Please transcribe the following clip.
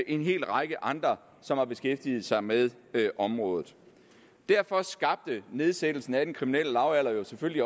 en hel række andre som har beskæftiget sig med området derfor skabte nedsættelsen af den kriminelle lavalder selvfølgelig